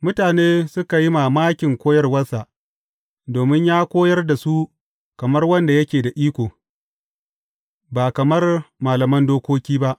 Mutane suka yi mamakin koyarwarsa, domin ya koyar da su kamar wanda yake da iko, ba kamar malaman dokoki ba.